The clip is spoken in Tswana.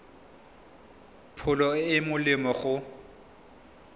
pholo e e molemo go